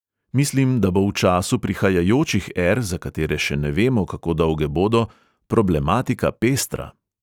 Mislim, da bo v času prihajajočih er, za katere še ne vemo, kako dolge bodo, problematika pestra.